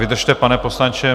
Vydržte, pane poslanče.